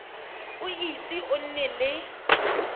o ise o nne le